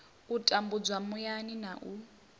u tambudzwa muyani na u